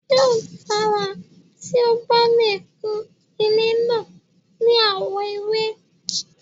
Yóò dára tí o bá lè kun ilé náà ní àwọ̀ ewé.